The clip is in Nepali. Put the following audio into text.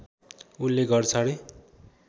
उनले घर छाडे